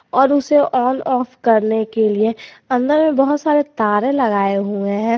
और उसे on off करने के लिए अंदर में बहोत सारे तारे लगाए हुए हैं।